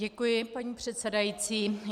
Děkuji, paní předsedající.